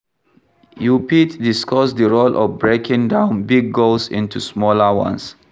You fit discuss di role of breaking down big goals into smaller ones.